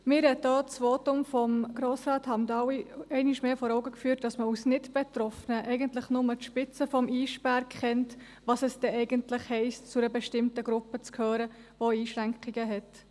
Mir hat auch das Votum von Grossrat Hamdaoui einmal mehr vor Augen geführt, dass man als Nichtbetroffene eigentlich nur die Spitze des Eisbergs kennt, was es denn eigentlich heisst, zu einer bestimmten Gruppe zu gehören, die Einschränkungen hat.